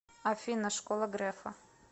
афина школа грефа